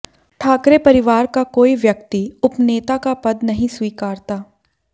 ठाकरे परिवार का कोई व्यक्ति उपनेता का पद नहीं स्वीकारता